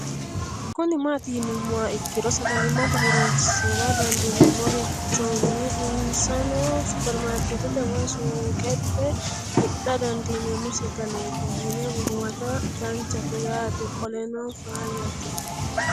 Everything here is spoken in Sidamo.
Kuni mati yinumoha ikiro sagalimate hooronsra dandinemorichoni insano supermarket woyi suuqexe hidha dandinemo sagalet yiine huwata danchate yaate qoleno faayate